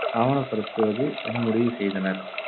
ஆவணப்படுத்துவது என முடிவுசெய்தனர்.